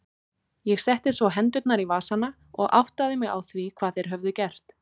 Ég setti svo hendurnar í vasana og áttaði mig á hvað þeir höfðu gert.